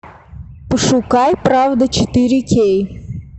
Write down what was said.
пошукай правда четыре кей